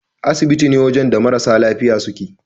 Asibiti ne wajan da marasa lafiya suke